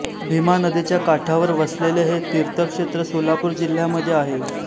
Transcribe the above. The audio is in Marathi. भीमा नदीच्या काठावर वसलेले हे तीर्थक्षेत्र सोलापूर जिल्ह्यामध्ये आहे